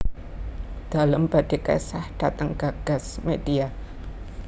Dalem badhe kesah dateng Gagas Media